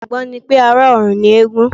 Ìgbàgbọ́ ni pé, ará-ọ̀run ni eégún